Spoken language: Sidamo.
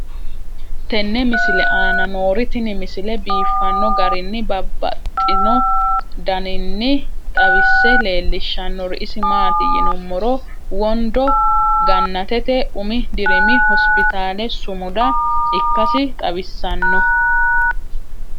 tenne misile aana noorina tini misile biiffanno garinni babaxxinno daniinni xawisse leelishanori isi maati yinummoro wondo gannatete Umi dirimi hospitale sumuda ikkassi xawissanno